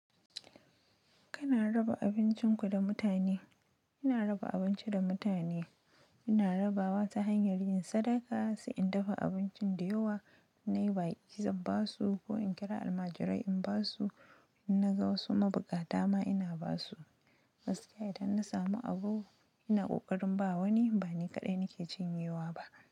Kana raba abincinku da mutane? Ina raba abinci da mutane. Ina rabawa ta hanyar yin sadaka, sai in dafa abincin da yawa, in nayi baƙi zan basu ko in kira almajirai in ba su. In na ga wasu mabukata ma ina ba su. Muskiya idan na samu abu ina ƙoƙarin ba wani, ba ni kaɗai nake cinyewa ba.